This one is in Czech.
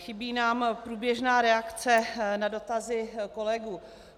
Chybí nám průběžná reakce na dotazy kolegů.